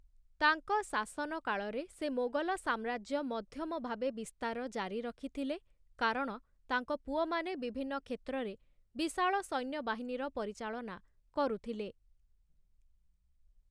ତାଙ୍କ ଶାସନକାଳରେ ସେ ମୋଗଲ ସାମ୍ରାଜ୍ୟ ମଧ୍ୟମ ଭାବେ ବିସ୍ତାର ଜାରି ରଖିଥିଲେ କାରଣ ତାଙ୍କ ପୁଅମାନେ ବିଭିନ୍ନ କ୍ଷେତ୍ରରେ ବିଶାଳ ସୈନ୍ୟବାହିନୀର ପରିଚାଳନା କରୁଥିଲେ ।